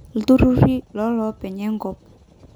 Iltururi lolopeny enkop.